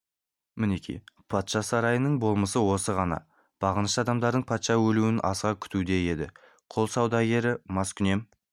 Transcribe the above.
мінеки патша сарайының болмысы осы ғана бағынышты адамдары патшаның өлуін асыға күтуде еді құл саудагері маскүнем